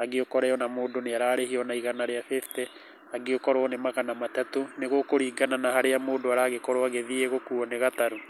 angĩ ũkore mũndũ nĩ ararĩhio ona igana rĩa fifty, angĩ ũkorwo nĩ magana matatũ. Nĩ gũkũringana na harĩa mũndũ aragĩkorũo agĩthiĩ gũkuo nĩ gatarũ.